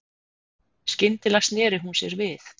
Skyndilega sneri hún sér við.